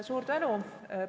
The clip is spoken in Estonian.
Suur tänu!